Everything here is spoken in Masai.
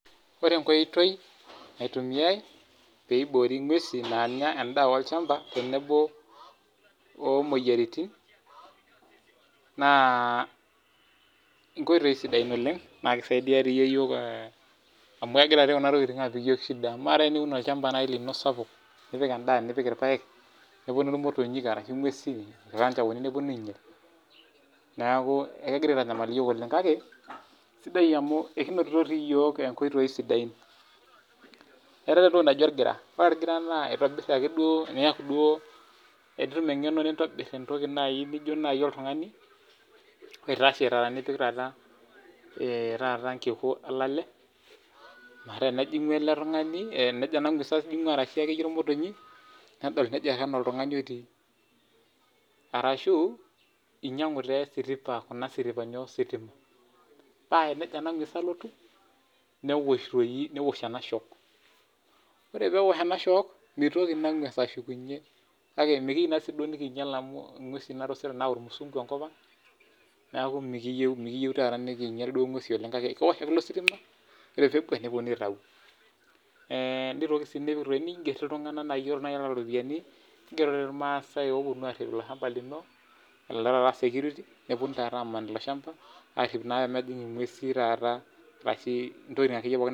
Ore enkoitoi naitumiay piiboori ng'wesi naanya en'daa olchamba tenebo oomoyiaritin naa inkoitoi sidain oleng naa kisaidia iyiok amu kegira kuna tokiting aapik iyiok shida amu kamaa taa eniun olchamba nai lino sapuk nipik endaa nipik ilpaek nepuonu ilmotonyik arashu ingwesi ilkanjaoni nepuonu ainyal neeku ekegira aitanyamal iyiok oleng kake sidai amu kinotito siiyiok inkoitoi sidain Etai entoki naji olgira, ore olgira naa eitobir ake duo tenitum engeno nintobir entoki nai nijo oltungani oitashe taata nipik taata nkiku olale metaa tenejo alotu ena ngwes ashu motonyi nejo oltungani otii arashu inyang'u esiripa, kuna siripani ositima paa tenejo ena ngwes alotu niwosh ena ahock ore peewosh ena shock mitoki ena ngwes alotu kake mikiyieu nikiinyal amu ngwes naayau olmusungu enkop ang niaku mikiiyieu nikiinyal amu ore peebwak nepuonunui aitayu Nitoki sii niinghier iltunganak nai looropiani ingiero ilmaasai oopuonu arhip ilo shamba lino kulo taata security nepuonu taata aaman ilo shamba arhip naa peemejing ingwesi ashu ntokiting akeyie naa